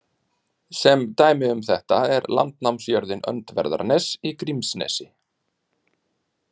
Sem dæmi um þetta er landnámsjörðin Öndverðarnes í Grímsnesi.